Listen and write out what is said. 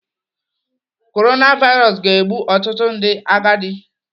Korona vairos ga-egbu ọtụtụ ndị agadi.